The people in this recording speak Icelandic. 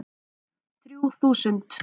Þrjú þúsund